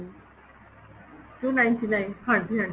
two ninety nine ਹਾਂਜੀ ਹਾਂਜੀ